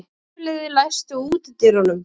Hafliði, læstu útidyrunum.